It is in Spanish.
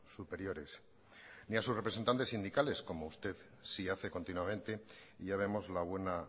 superiores ni a sus representantes sindicales como usted sí hace continuamente y ya vemos la buena